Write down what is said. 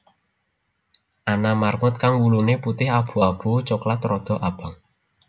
Ana marmut kang wuluné putih abu abu coklat rada abang